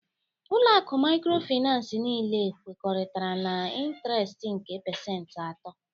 Ụlọ akụ microfinance niile kwekọrịtara na intiresti nke pasentị atọ